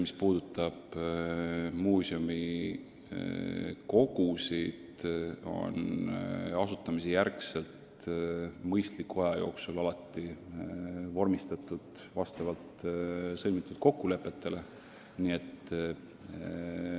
Minu arust on muuseumide kogud pärast sihtasutuse asutamist alati mõistliku aja jooksul vastavalt sõlmitud kokkulepetele vormistatud.